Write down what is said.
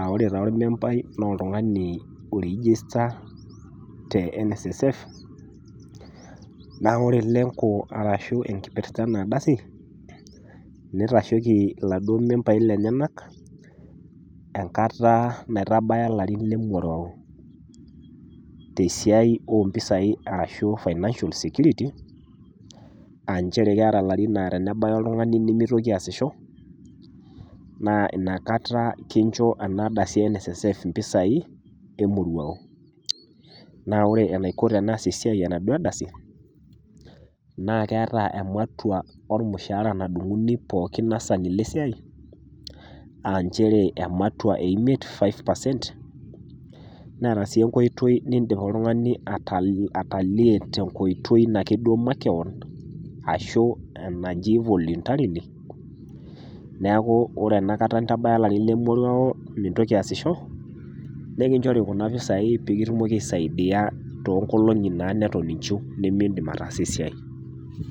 aaore taa olmembai naa oltungani oirigista te NSSF naaku ore lenko arashu enkipirta ena ardasi neitasholi laduo membai lenyenak enkata naitabaya larrin limoruau te siaai empisai arashu financial security aainchere keata larrin naa tenebaiya oltungani nemeitoki aashisho naa inakata kincho ena ardasi e NSSF mpisaii emuruau, naa ore eneiko teneas esiai enaduo ardasi naa keata ematua ormushaara nadung'uni pookin laasani le esiaii aainchere emautua e imiet five percent neata sii enkoitoi niindim oltungani atalie te nkoitoi naake iye makeon ashu enaji voluntarily naaku ore ena kata intabaya ilarrin le moruao mintoki aashisho, nikinchori kuna mpisaiii pikitumoki aisaidiya too enkolongi neton inshuu nimiindim ataasa esiai.